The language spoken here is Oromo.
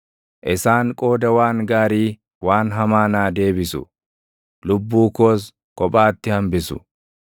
Isaan qooda waan gaarii waan hamaa naa deebisu; lubbuu koos kophaatti hambisu.